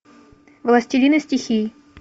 властелины стихий